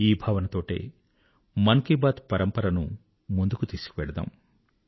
ఈ భావనతోటే మన్ కీ బాత్ పరంపరను ముందుకు తీసుకెళ్దాం